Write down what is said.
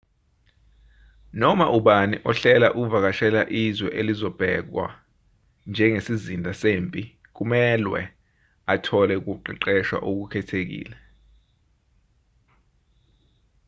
noma ubani ohlela ukuvakashela izwe elizobhekwa njengesizinda sempi kumelwe athole ukuqeqeshwa okukhethekile